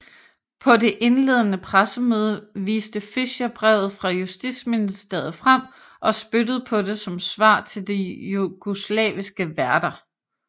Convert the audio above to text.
På det indledende pressemøde viste Fischer brevet fra Justitsministeriet frem og spyttede på det som svar til de jugoslaviske værter